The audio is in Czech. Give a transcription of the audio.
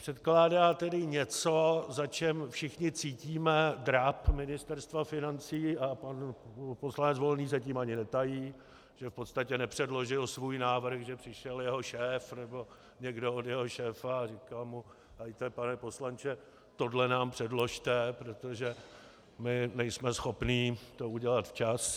Předkládá tedy něco, za čím všichni cítíme dráp Ministerstva financí, a pan poslanec Volný se tím ani netají, že v podstatě nepředložil svůj návrh, že přišel jeho šéf nebo někdo od jeho šéfa a říkal mu: Helejte, pane poslanče, tohle nám předložte, protože my nejsme schopni to udělat včas.